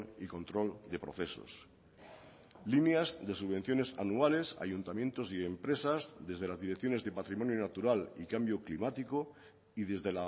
y control de procesos líneas de subvenciones anuales a ayuntamientos y empresas desde las direcciones de patrimonio natural y cambio climático y desde